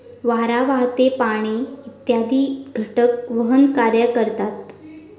वारा, वाहते पाणी इत्यादी घटक वहनकार्यकरतात.